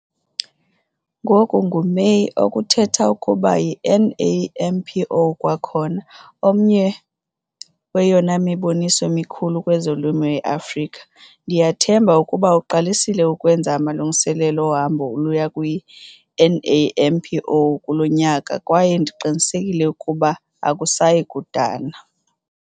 Ngoku nguMeyi - oku kuthetha ukuba yiNAMPO kwakhona - omnye weyona miboniso mikhulu kwezolimo eAfrika. Ndiyathemba ukuba uqalisile ukwenza amalungiselelo ohambo oluya kwiNAMPO kulo nyaka kwaye ndiqinisekile ukuba akusayi kudana.